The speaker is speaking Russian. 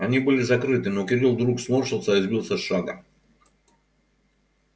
они были закрыты но кирилл вдруг сморщился и сбился с шага